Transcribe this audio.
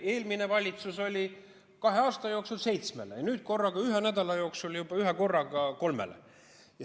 Eelmine valitsus andis kahe aasta jooksul seitsmele, aga nüüd anti juba ühe nädala jooksul korraga kolmele.